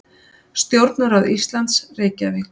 Stjórnarráð Íslands, Reykjavík.